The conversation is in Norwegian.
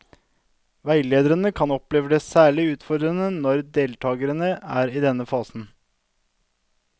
Veilederen kan oppleve det særlig utfordrende når deltakerne er i denne fasen.